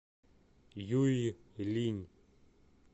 юйлинь